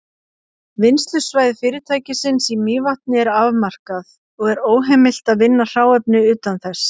Vinnslusvæði fyrirtækisins í Mývatni er afmarkað, og er óheimilt að vinna hráefni utan þess.